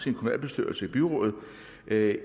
det